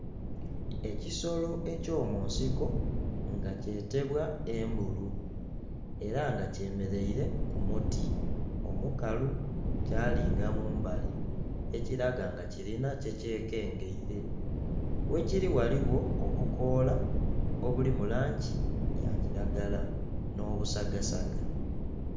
Ekisolo eky'omunsiko nga kyetebwa embulu, era nga kyemeleire ku muti omukalu, kyalinga mu mbali ekiraga nga kilina kyekyekengeile. Ghekiri ghaligho obukoola obuli mu langi ya kilagala, nh'obusagasaga.